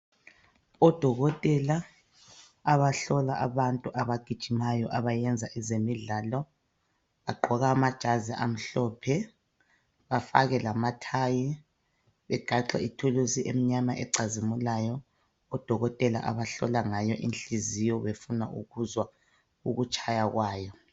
Odokotela abahlola abantu abagijimayo, abayenza ezemidlalo. Bagqoka amajazi amhlophe. Bafake lamathayi. Begaxe lithuluzi, emnyama ecazimulayo. Odokotela, abahlola ngayo inhliziyo, befuna ukuzwa ukutshaya kwayo,.